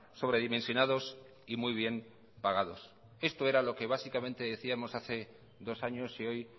sobre dimensionados y muy bien pagados esto era lo que básicamente decíamos hace dos años y hoy